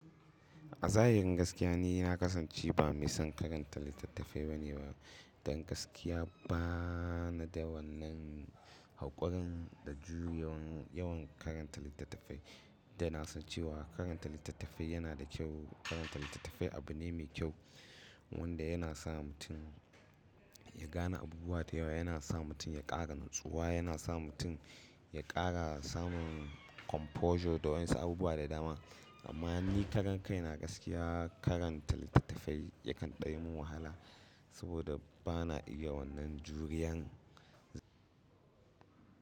A zahirin gaskiya ni na kasance ba mai son karanta littattafai ba ne ba, don gaskiya ba na da wannan haƙurin da jurewar yawan karanta littattafai. Dana san cewa karanta littattafai yana da kyau. Karanta littattafai abu ne mai kyau wanda yana sa mutum ya gane abubuwa da yawa, yana sa mutum ya ƙara natsuwa, yana sa mutum ya ƙara samun composure da wan'in su abubuwa da dama. Amma ni karan kai na gaskiya karanta littattafai yakan ɗanyi min wahala saboda ba na iya wannan juriyan.